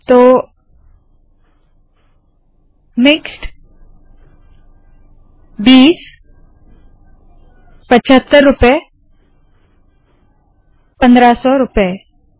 तो मिक्स्ड बीस पचहत्तर रूपए पंद्रह सौ रूपए